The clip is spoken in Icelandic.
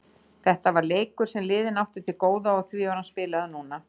Þetta var leikur sem liðin áttu til góða og því var hann spilaður núna.